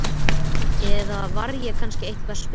Eða var ég kannski eitthvað spes?